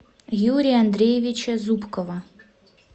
юрия андреевича зубкова